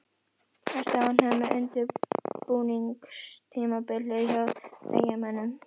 Ertu ánægður með undirbúningstímabilið hjá Eyjamönnum?